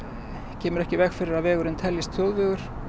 kemur ekki í veg fyrir að vegurinn teljist þjóðvegur